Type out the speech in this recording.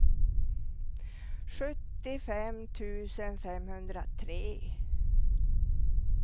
sjuttiofem tusen femhundratre